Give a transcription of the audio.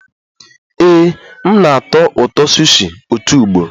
Ee, m na-atọ ụtọ sushi otu ugboro